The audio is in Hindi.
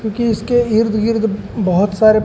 क्योंकि इर्द गिर्द बहोत सारे--